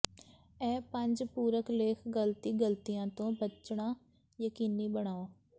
ਇਹ ਪੰਜ ਪੂਰਕ ਲੇਖ ਗਲਤੀ ਗਲਤੀਆਂ ਤੋਂ ਬਚਣਾ ਯਕੀਨੀ ਬਣਾਓ